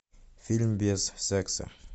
фильм без секса